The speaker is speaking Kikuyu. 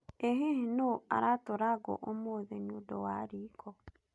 Ĩ hihi nũũ aratũra ngũ ũmũthĩ nĩũndũ wa riiko?